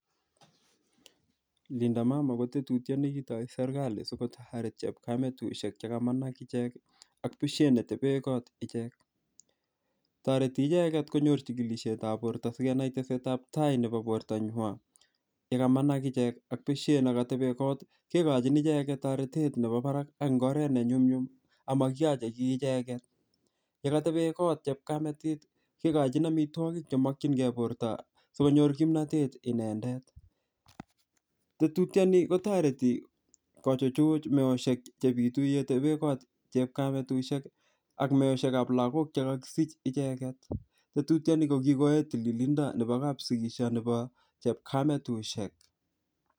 Linda mama kotetutyet nekitoi serikali sikotaret chepkametusiek che kamach ichek ak besiet netebekot ichek. Tireti icheget konyor chigilisietab borto sigenai tesetabtai nebo bortanywan, yekamanach ichek ak besiet ne katebe kot kogochin icheget toretet nebo barak eng oret nenyumnyum ak makioche kiy icheget. Ye katebe kot chepkametit kegochin amitwogik chemokyinge borto sigonyor kimnatet inendet. Tetutioni kotareti kochuchuch meosiek chebitu yetebe kot chepkametusiek ak meosiekab lagok che kakisich icheget. Tetutiani ko kokoyai tililindo nebo kapsikisio nebo chepkametusiek.